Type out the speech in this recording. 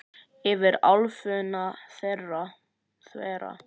Yfir álfuna þvera